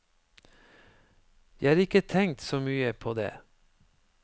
Jeg har ikke tenkt så mye på det.